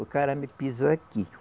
O cara me pisou aqui.